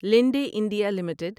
لنڈے India limited